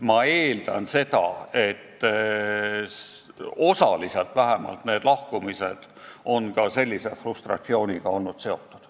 Ma eeldan, et vähemalt osaliselt on need lahkumised olnud ka sellise frustratsiooniga seotud.